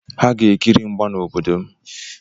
Ha ga-ekiri mgba n'obodo m.